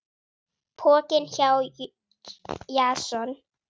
Pokinn hjá Jason